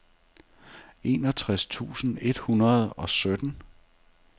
enogtres tusind et hundrede og sytten